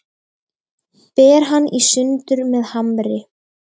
Ber hann í sundur með hamri.